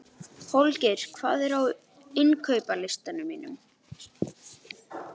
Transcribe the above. Holgeir, hvað er á innkaupalistanum mínum?